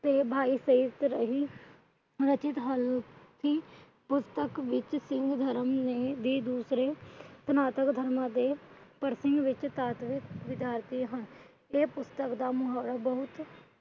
ਪੁਸਤਕ ਵਿੱਚ ਸਿੰਘ ਧਰਮ ਦੀ ਦੂਸਰੇ ਸਨਾਤਨ ਧਰਮ ਦੇ ਪ੍ਰਤੀ